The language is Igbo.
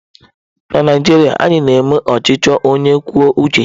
Na Naijiria, anyị na-eme ọchịchị onye kwuo uche ya